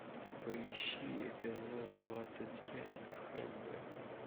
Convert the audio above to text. поищи эпизод двадцать пять хб